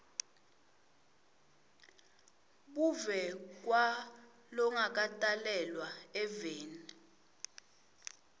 buve kwalongakatalelwa eveni